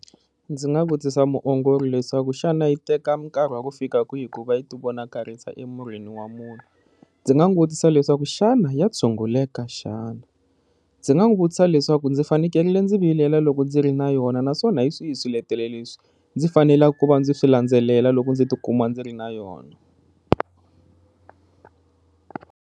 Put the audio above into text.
Ndzi nga vutisa muongori leswaku xana yi teka nkarhi wa ku fika ku va yi ti vonakarisa emirini wa munhu, ndzi nga n'wi vutisa leswaku xana ya tshunguleka xana, ndzi nga n'wi vutisa leswaku ndzi fanekele ndzi vilela loko ndzi ri na yona naswona hi swihi swiletelo leswi ndzi faneleke ku va ndzi swi landzelela loko ndzi tikuma ndzi ri na yona.